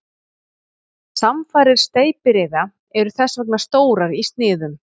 Samfarir steypireyða eru þess vegna stórar í sniðum.